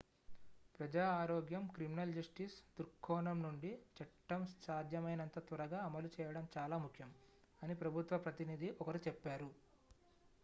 """ప్రజా ఆరోగ్యం criminal justice దృక్కోణం నుండి చట్టం సాధ్యమైనంత త్వరగా అమలు చేయడం చాలా ముఖ్యం" అని ప్రభుత్వ ప్రతినిధి ఒకరు చెప్పారు.